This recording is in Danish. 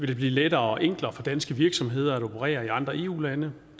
det blive lettere og enklere for danske virksomheder at operere i andre eu lande